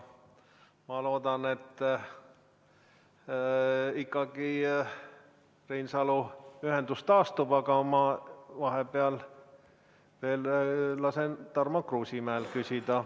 Ma loodan, et ikkagi Reinsalu ühendus taastub, aga ma vahepeal veel lasen Tarmo Kruusimäel küsida.